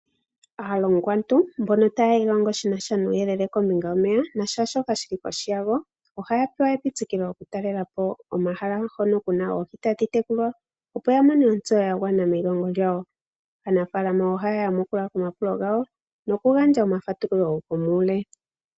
Aalongwantu mbono taya ilongo shinasha nuuyelele kombinga yomeya naashoka shili kohi yago, oha ya pewa epitikilo oku talelapo omahala hono kuna oohi tadhi tekulwa opo ya mone ontseyo ya gwana meyilongo lyawo. Aanafalama oha ya yamukula komapulo gawo nokugandja omafatululo gomuule.